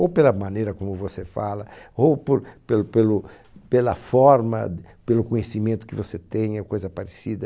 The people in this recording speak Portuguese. Ou pela maneira como você fala, ou por, pelo pelo, pela forma d, pelo conhecimento que você tem, ou coisa parecida.